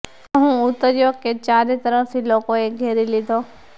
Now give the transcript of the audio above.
જેવો હું ઉતર્યો કે ચારે તરફથી લોકોએ ઘેરી લીધો